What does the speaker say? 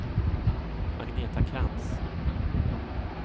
Agneta Krantz